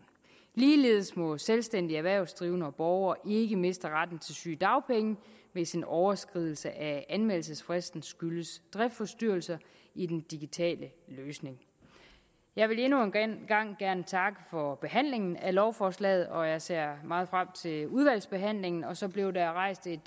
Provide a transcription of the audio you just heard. ligeledes må selvstændige erhvervsdrivende og borgere ikke miste retten til sygedagpenge hvis en overskridelse af anmeldelsesfristen skyldes driftsforstyrrelser i den digitale løsning jeg vil endnu en gang gerne takke for behandlingen af lovforslaget og jeg ser meget frem til udvalgsbehandlingen så blev der rejst et